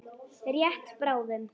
Rétt bráðum.